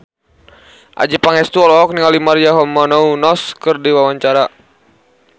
Adjie Pangestu olohok ningali Maria Menounos keur diwawancara